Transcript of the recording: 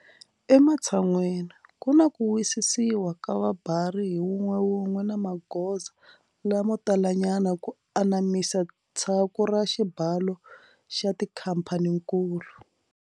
Ematshan'weni, ku na ku wisisiwa ka vabari hi wun'wewun'we na magoza lamo talanyana ku anamisa tshaku ra xibalo xa tikhamphanikulu.